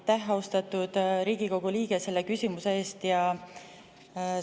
Aitäh, austatud Riigikogu liige, selle küsimuse eest!